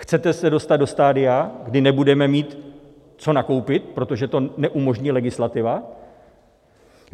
Chcete se dostat do stadia, kdy nebudeme mít co nakoupit, protože to neumožní legislativa?